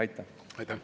Aitäh!